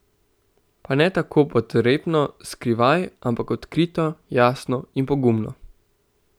Pa ne tako podrepno, skrivaj, ampak odkrito, jasno in pogumno.